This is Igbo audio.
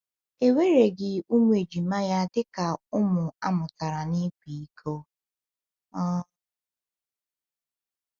E wereghị ụmụ ejima ya dị ka ụmụ a mụtara n’ịkwa iko. um